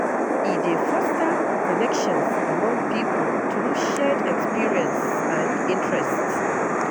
E dey foster connections among people through shared experiences and interests.